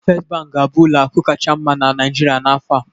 Fest bank ga-abụ ụlọ akụ kacha mma na Naịjirịa n'afọ a